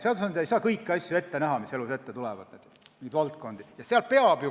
Seadusandja ei saa ette näha kõiki asju, mis elus ette tulevad, mingid valdkonnad jäävad välja.